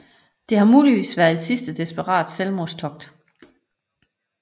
Det har muligvis været et sidste desperat selvmordstogt